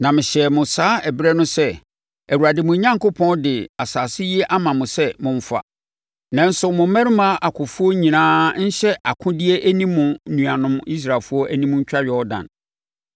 Na mehyɛɛ mo saa ɛberɛ no sɛ, “ Awurade mo Onyankopɔn de asase yi ama mo sɛ momfa. Nanso mo mmarima akofoɔ nyinaa nhyɛ akodeɛ nni mo nuanom Israelfoɔ anim ntwa Yordan.